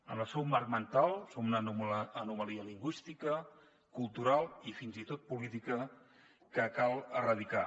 en el seu marc mental som una anomalia lingüística cultural i fins i tot política que cal erradicar